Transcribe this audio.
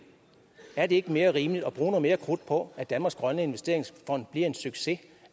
er det ikke mere rimeligt at bruge noget mere krudt på at danmarks grønne investeringsfond bliver en succes